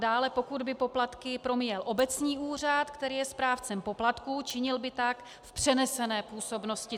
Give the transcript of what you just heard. Dále, pokud by poplatky promíjel obecní úřad, který je správcem poplatků, činil by tak v přenesené působnosti.